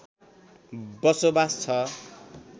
बसोबास छ